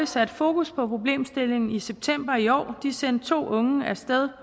satte fokus på problemstillingen i september i år de sendte to unge af sted